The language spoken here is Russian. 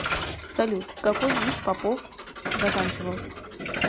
салют какой вуз попов заканчивал